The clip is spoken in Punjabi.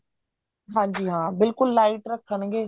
ਹਾਂਜੀ ਹਾਂ ਬਿਲਕੁਲ light ਰੱਖਣਗੇ